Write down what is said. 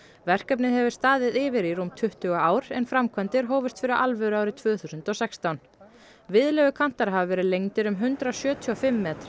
verkefnið hefur staðið yfir í rúm tuttugu ár en framkvæmdir hófust fyrir alvöru árið tvö þúsund og sextán hafa verið lengdir um hundrað sjötíu og fimm metra